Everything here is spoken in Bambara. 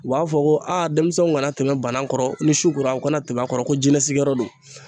U b'a fɔ ko demisɛnw ŋana tɛmɛ banan kɔrɔ, ni su kora u kana tɛm'a kɔrɔ ko jinɛ sigiyɔrɔ don.